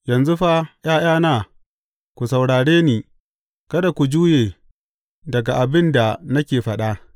Yanzu fa, ’ya’yana, ku saurare ni; kada ku juye daga abin da nake faɗa.